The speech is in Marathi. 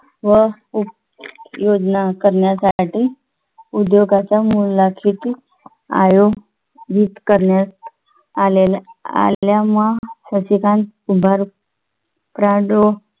व योजना करण्यात आली उद्योगाच्या मूल्याची ती आयो जित करण्यात आले आलेल्या महत्त्वाच्या